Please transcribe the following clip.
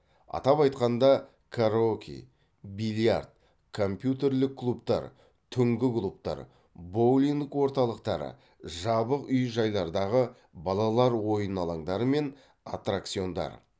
атап айтқанда караоке бильярд компьютерлік клубтар түнгі клубтар боулинг орталықтары жабық үй жайлардағы балалар ойын алаңдары мен аттракциондар